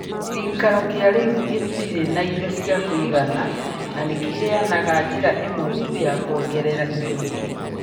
Gĩikaro kĩa rĩu gĩtirĩ na indo cia kũigana na nĩ kĩheanaga njĩra ĩmwe tu ya kwongerera indo ingĩ.